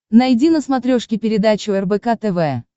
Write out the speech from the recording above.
найди на смотрешке передачу рбк тв